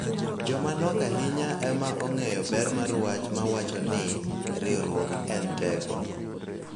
Joma nok ahinya ema ong�eyo ber mar wach ma wacho ni �Riwruok en teko�.